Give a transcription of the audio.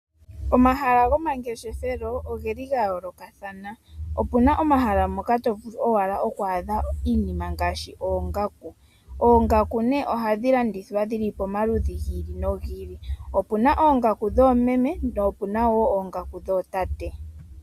Omahala gomangeshefelo oge li ga yoolokathana. Opuna omahala moka tovulu owala oku adha iinima ngaashi oongaku. Oongaku nee ohadhi landithwa dhili pomaludhi gi ili nogi ili, opuna oongaku dhoomeme po opuna woo oongaku dhootate.